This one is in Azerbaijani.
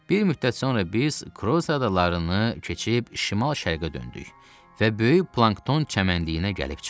Bir müddət sonra biz Kroz adalarını keçib şimal-şərqə döndük və böyük plankton çəmənliyinə gəlib çıxdıq.